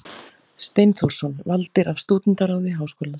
Steinþórsson, valdir af Stúdentaráði Háskólans.